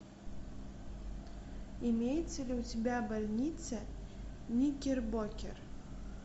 имеется ли у тебя больница никербокер